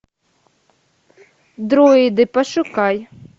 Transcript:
дроиды пошукай